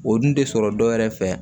O dun tɛ sɔrɔ dɔwɛrɛ fɛ